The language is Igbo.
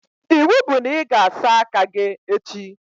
Iwu bụ na ị ga-asa aka gị echi!